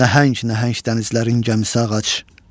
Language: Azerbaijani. Nəhəng-nəhəng dənizlərin gəmisi ağac.